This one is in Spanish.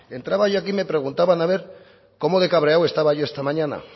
entraba hoy aquí y me preguntaban a ver cómo de cabreado estaba yo esta mañana